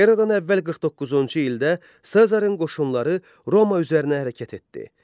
Eradan əvvəl 49-cu ildə Sezarın qoşunları Roma üzərinə hərəkət etdi.